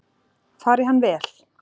Fari hann vel!